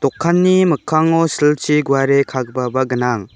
dokanni mikkango silchi guare kagipaba gnang.